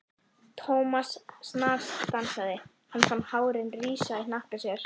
Thomas snarstansaði, hann fann hárin rísa í hnakka sér.